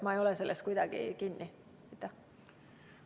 Ma ei ole selles kuidagi kinni.